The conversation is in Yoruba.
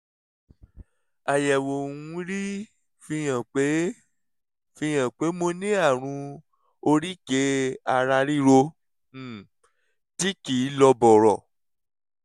àyẹ̀wò mri fihàn pé fihàn pé mo ní àrùn oríkèé-ara-ríro um tí kì í lọ bọ̀rọ̀